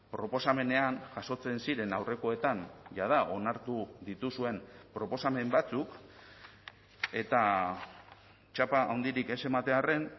proposamenean jasotzen ziren aurrekoetan jada onartu dituzuen proposamen batzuk eta txapa handirik ez ematearren